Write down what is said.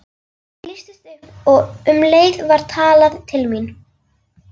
Það lýstist upp og um leið var talað til mín.